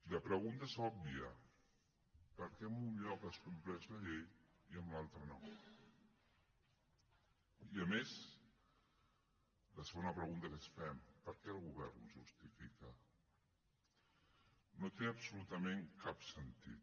la pregunta és òbvia per què en un lloc es compleix la llei i en l’altre no i a més la segona pregunta que ens fem per què el govern ho justifica no té absolutament cap sentit